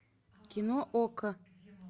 кино окко